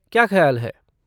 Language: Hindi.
क्या ख्याल है?